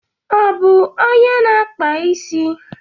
Ọ bu ónyé ná akpà ịsị?